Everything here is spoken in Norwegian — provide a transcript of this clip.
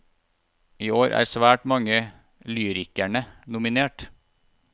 I år er svært mange lyrikerne nominert.